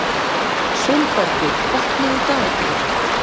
Sólbergur, opnaðu dagatalið mitt.